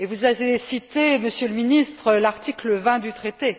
Vous avez cité, Monsieur le Ministre, l'article 20 du traité.